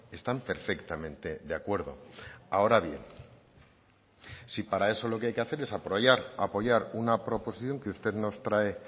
están perfectamente de acuerdo ahora bien si para eso lo que hay que hacer es apoyar una proposición que usted nos trae